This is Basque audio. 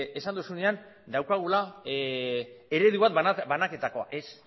esan duzunean daukagula eredu bat banaketakoa ez